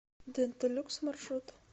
дента люкс маршрут